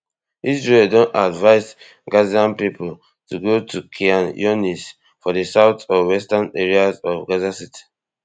israel don advise gazan pipo to go to khan younis for di south or western areas of gaza city